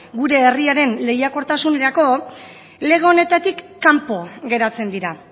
gure herriaren lehiakortasunerako lege honetatik kanpo geratzen dira